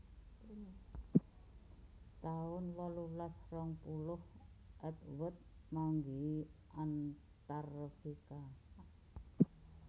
taun wolulas rong puluh Edward manggihi Antartika